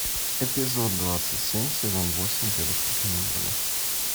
эпизод двадцать семь сезон восемь дедушка поневоле